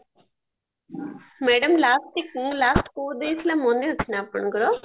madam last କୋଉ last କୋଉ day ଥିଲା ମାନେ ଅଛି ନା ଆପଣଙ୍କର